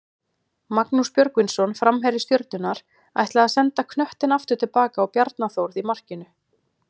Magnús Björgvinsson framherji Stjörnunnar ætlaði að senda knöttinn aftur tilbaka á Bjarna Þórð í markinu.